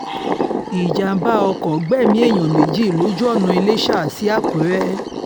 ìjàḿbà ọkọ̀ gbẹ̀mí èèyàn méjì lójú ọ̀nà llésà sí àkùrẹ́